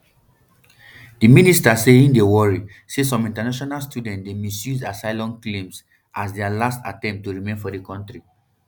di minister say im dey worry say some international students dey misuse asylum claims um as dia last attempt to remain for di kontri